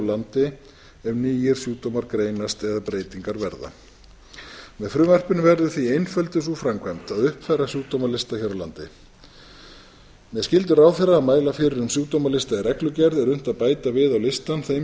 landi ef nýir sjúkdómar greinast eða breytingar verða með frumvarpinu verður því einfölduð sú framkvæmd að uppfæra sjúkdómalista hér á landi með skyldu ráðherra að mæla fyrir um sjúkdómalista í reglugerð er unnt að bæta við á listann þeim